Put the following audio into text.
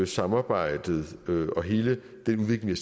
samarbejdet og hele den udvikling